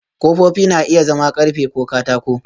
Ƙofofi na iya zama ƙarfe ko katako